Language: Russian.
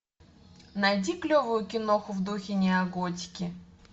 найди клевую киноху в духе неоготики